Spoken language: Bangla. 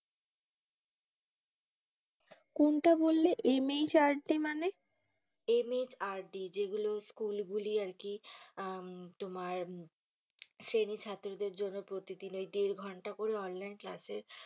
কোনটা বললে MHRD মানে? MHRD যেগুলো school গুলি আরকি তোমার শ্রেণীর ছাত্রদের জন্য প্রতিদিন ওই দের ঘণ্টা করে online class এ,